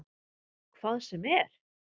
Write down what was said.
Hvað sem er?